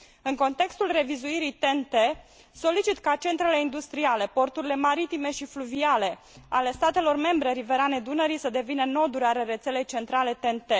În contextul revizuirii TEN T, solicit ca centrele industriale și porturile maritime și fluviale ale statelor membre riverane Dunării să devină noduri ale rețelei centrale TEN T.